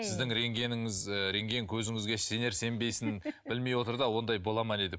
сіздің рентгеніңіз ы рентген көзіңізге сенер сенбесін білмей отыр да ондай бола ма не деп